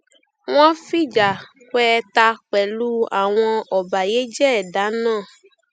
wọn fìjà pẹẹta pẹlú àwọn ọbàyéjẹ ẹdá náà